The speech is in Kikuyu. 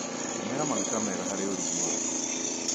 Tũmĩra maguta mega harĩ ũrugi waku.